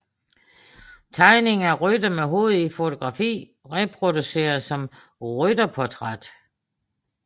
Tegning af rytter med hovedet i fotografi reproduceret som rytterportræt